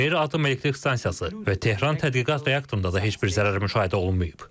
Buşehr atom elektrik stansiyası və Tehran Tədqiqat reaktorunda da heç bir zərər müşahidə olunmayıb.